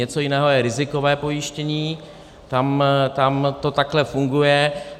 Něco jiného je rizikové pojištění, tam to takhle funguje.